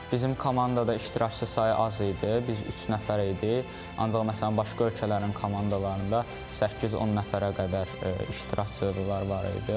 Bizim komandada iştirakçı sayı az idi, biz üç nəfər idi, ancaq məsələn başqa ölkələrin komandalarında 8-10 nəfərə qədər iştirakçılar var idi.